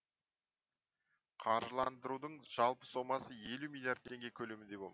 қаржыландырудың жалпы сомасы елу миллиард теңге көлемінде болмақ